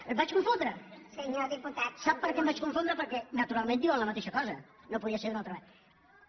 em vaig confondre sap per què em vaig confondre perquè naturalment diuen la mateixa cosa no podia ser d’altra manera